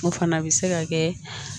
O fana bɛ se ka kɛ